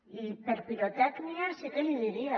i per pirotècnia sí que li diria